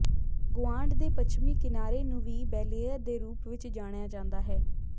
ਗੁਆਂਢ ਦੇ ਪੱਛਮੀ ਕਿਨਾਰੇ ਨੂੰ ਵੀ ਬੈਲੇਅਰ ਦੇ ਰੂਪ ਵਿੱਚ ਜਾਣਿਆ ਜਾਂਦਾ ਹੈ